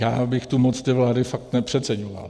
Já bych tu moc té vlády fakt nepřeceňoval.